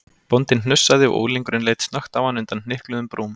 Bóndinn hnussaði og unglingurinn leit snöggt á hann undan hnykluðum brúm.